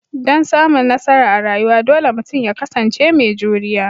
Dan samun nasara a rayuwa, dole mutum ya kasance mai juriya